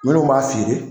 Minnu b'a feere